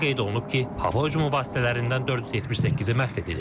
Məlumatda qeyd olunub ki, hava hücumu vasitələrindən 478-i məhv edilib.